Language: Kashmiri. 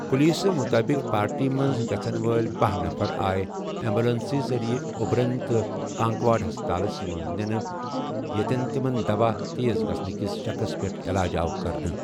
پُلیسہٕ مُطٲبق، پارٹی منٛز گژھن وٲلۍ باہَ نفر آےٚ ایمبولینسہِ ذریعہٕ اُوبرن تہٕ کانکوڈ ہسپتالس منٛز نِنہٕ یتن تِمَن دوا تیز گژھنہٕ کِس شکس پٮ۪ٹھ اعلاج آو کرنہٕ۔